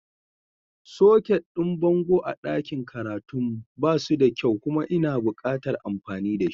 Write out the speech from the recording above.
Soket ɗin bango a ɗakin karatun mu ba suda kyau kuma ina buƙatar amfani da shi.